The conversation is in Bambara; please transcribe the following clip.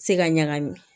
Se ka ɲagami